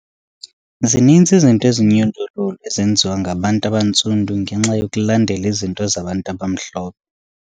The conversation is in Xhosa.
Zininzi izinto ezinyundululu ezenziwa ngabantu abantsundu ngenxa yokulandela izinto zabantu abamhlophe.